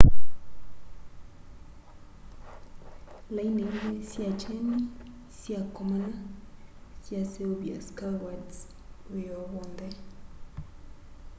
laini ili sya kyeni syakomana syaseuvya skywards wioo wonthe